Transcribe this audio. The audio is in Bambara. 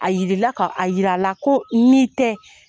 A yirila a yira la ko n'i tɛ